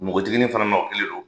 Npogotiginin fana o kelen do.